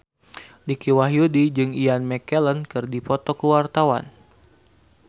Dicky Wahyudi jeung Ian McKellen keur dipoto ku wartawan